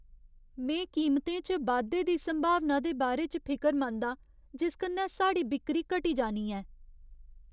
में कीमतें च बाद्धे दी संभावना दे बारे च फिकरमंद आं जिस कन्नै साढ़ी बिक्करी घटी जानी ऐ।